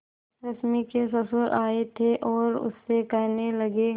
रश्मि के ससुर आए थे और उससे कहने लगे